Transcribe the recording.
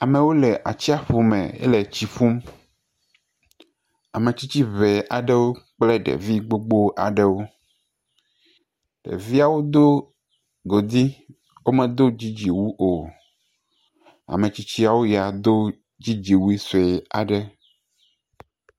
Amewo le atsiaƒu me ele tsi ƒum. Ame tsitsi ŋe aɖewo kple ɖevi gbogbo aɖewo. Ɖeviawo do godi womedo dzidziwu o. Ame tsitsiawo ya do dzidzi wui sue aɖe.